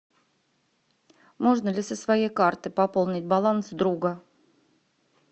можно ли со своей карты пополнить баланс друга